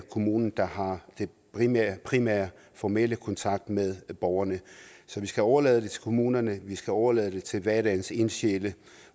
kommunen der har den primære primære og formelle kontakt med borgerne så vi skal overlade det til kommunerne vi skal overlade det til hverdagens ildsjæle